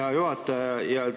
Hea juhataja!